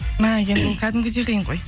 мә енді ол кәдімгідей қиын ғой